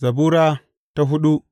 Zabura Sura hudu